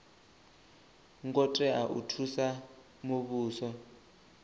ngo tea u thusa muvhuso